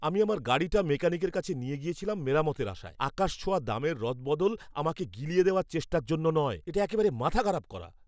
আমি আমার গাড়িটা মেকানিকের কাছে নিয়ে গিয়েছিলাম মেরামতের আশায়, আকাশছোঁয়া দামের রদবদল আমাকে গিলিয়ে দেওয়ার চেষ্টার জন্য নয়। এটা একেবারে মাথা খারাপ করা।